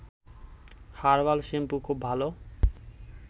herbal shampoo খুব ভালো